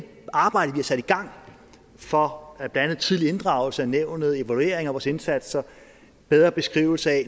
arbejde vi har sat i gang for blandt andet tidligere inddragelse af nævnet evalueringer af vores indsatser bedre beskrivelser af